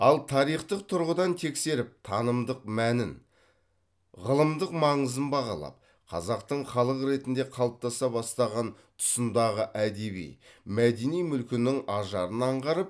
ал тарихтық тұрғыдан тексеріп танымдық мәнін ғылымдық маңызын бағалап қазақтың халық ретінде қалыптаса бастаған тұсындағы әдеби мәдени мүлкінің ажарын аңғарып